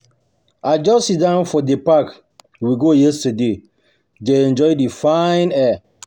I just sit down for the park we go yesterday dey enjoy the fine air